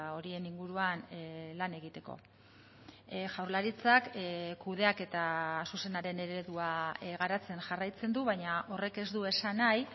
horien inguruan lan egiteko jaurlaritzak kudeaketa zuzenaren eredua garatzen jarraitzen du baina horrek ez du esan nahi